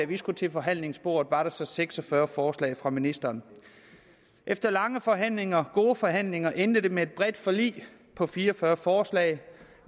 vi skulle til forhandlingsbordet var seks og fyrre forslag fra ministeren efter lange forhandlinger gode forhandlinger endte det med et bredt forlig på fire og fyrre forslag